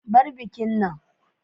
Bar bikin nan.